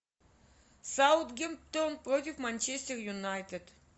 саутгемптон против манчестер юнайтед